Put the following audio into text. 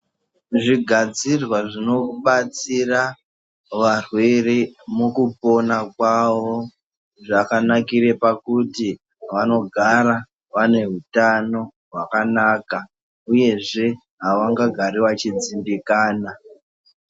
Zvigadzirwa zvinobatsira varwere mukupona kwavo, zvakanakire pakuti vanogara vane hutano hwakanaka uyezve havangagari vachidzimbikana.